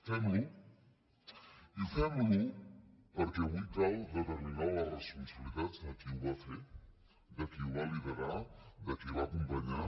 fem lo i fem lo perquè avui cal determinar les responsabilitats de qui ho va fer de qui ho va liderar de qui va acompanyar